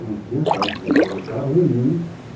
Não tinha casa, como você viu, carro nenhum.